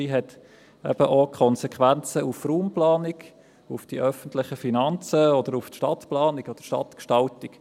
Sie hat auch Konsequenzen für die Raumplanung, auf die öffentlichen Finanzen und auf die Stadtplanung oder die Stadtgestaltung.